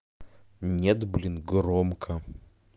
нет блин громко